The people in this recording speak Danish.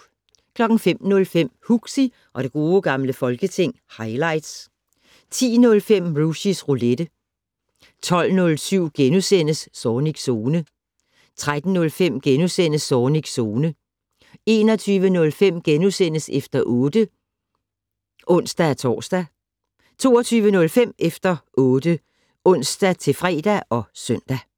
05:05: Huxi og det gode gamle folketing - highlights 10:05: Rushys Roulette 12:07: Zornigs Zone * 13:05: Zornigs Zone * 21:05: Efter 8 *(ons-tor) 22:05: Efter 8 (ons-fre og søn)